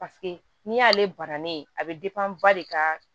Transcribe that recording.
Paseke n'i y'ale banna ne ye a bɛ ba de ka